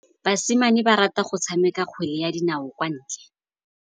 Basimane ba rata go tshameka kgwele ya dinaô kwa ntle.